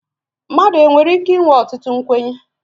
mmadụ e nwere ike inwe ọtụtụ nkwenye